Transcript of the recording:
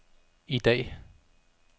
i dag